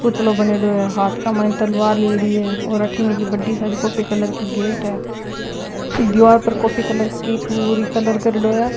पुतलो बणयोडो है हाथ के माय तलवार लियेड़ी है और अठीने की बड़ी सारी कॉफी कलर की गेट है दिवार पर कॉफी कलर की पूरी कलर करेडो है।